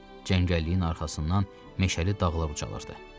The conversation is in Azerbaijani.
Cəngəlliyin arxasından meşəli dağlar ucalırdı.